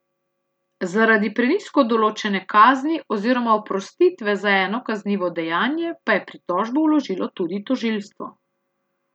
Zaradi prenizko določene kazni oziroma oprostitve za eno kaznivo dejanje pa je pritožbo vložilo tudi tožilstvo.